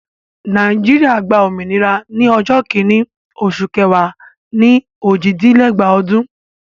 Nàìjíríà gba òmìnira ní ọjọ́ kìíní oṣù kẹwàá ni òjìdínlẹ́gbàá ọdún.